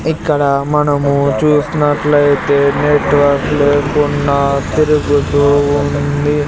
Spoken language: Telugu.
ఇక్కడ మనము చూసినట్లయితే నెట్వర్క్ లేకుండా తిరుగుతూ ఉంది.